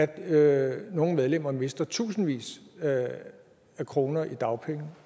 at nogle medlemmer mister tusindvis af kroner i dagpenge